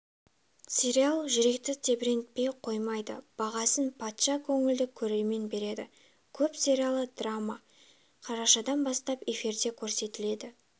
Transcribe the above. сериал жүректі тебіренте қоймайды бағасын патша көңілді көрермен береді деп көп сериалы драма қарашадан бастап эфирде көрсетіледі